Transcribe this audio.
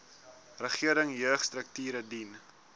regering jeugstrukture dien